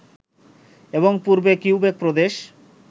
এবং পূর্বে কিউবেক প্রদেশ